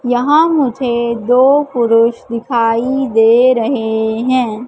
यहां मुझे दो पुरुष दिखाई दे रहे हैं।